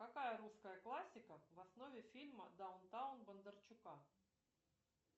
какая русская классика в основе фильма даунтаун бондарчука